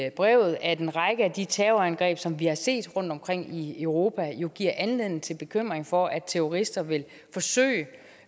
i brevet at en række af de terrorangreb som vi har set rundtomkring i europa jo giver anledning til bekymring for at terrorister vil forsøge